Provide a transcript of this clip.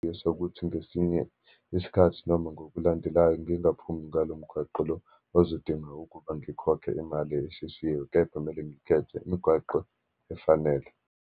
Esokuthi ngesinye isikhathi, noma ngokulandelayo ngingaphumi ngalo mgwaqo lo ozodinga ukuba ngikhokhe imali eshisiwe, kepha kumele ngikhethe imigwaqo efanele.